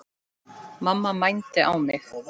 Mamma mændi á mig.